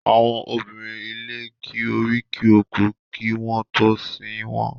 Àwọn obìnrin ilé ki oríkì òkú kí wọ́n tó sin wọ́n.